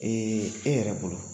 e yɛrɛ bolo